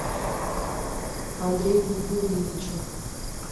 андрею юрьевичу